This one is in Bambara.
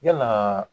Yalaa